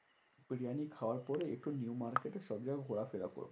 বিরিয়ানি খাবার পরে একটু নিউ মার্কেটে সব জায়গায় ঘোরাফেরা করবো।